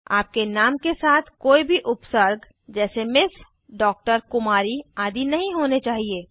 आपके नाम के साथ कोई भी उपसर्ग जैसे mएस डीआर कुमारी आदि नहीं होने चाहिए